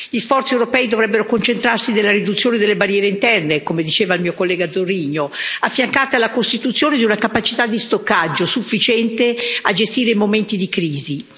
Gli sforzi europei dovrebbero concentrarsi nella riduzione delle barriere interne, come diceva il mio collega Zorrinho, affiancata alla costituzione di una capacità di stoccaggio sufficiente a gestire i momenti di crisi.